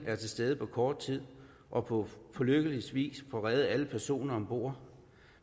er til stede på kort tid og på lykkelig vis får reddet alle personer om bord